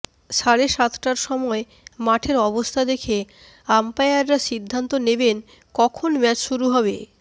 সাড়ে সাতটার সময় মাঠের অবস্থা দেখে আম্পায়াররা সিদ্ধান্ত নেবেন কখন ম্যাচ শুরু হবে